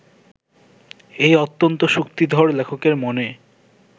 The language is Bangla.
এই অত্যন্ত শক্তিধর লেখকের মনে